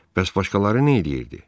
Bəs başqaları nə eləyirdi?